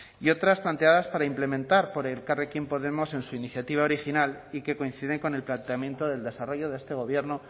y otras planteadas para implementar por elkarrekin podemos en su iniciativa original y que coinciden con el planteamiento del desarrollo de este gobierno